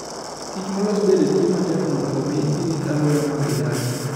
Kich molos bende tiyo matek mondo omi girit alwora ma gidakie.